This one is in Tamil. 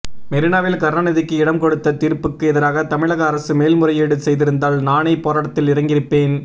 மெரினாவில் கருணாநிதிக்கு இடம் கொடுத்த தீர்ப்புக்கு எதிராக தமிழக அரசு மேல்முறையீடு செய்திருந்தால் நானே போராட்டத்தில் இறங்கியிருப்பேன்